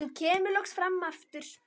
Hún kemur loks fram aftur.